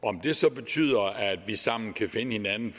om det så betyder at vi sammen kan finde hinanden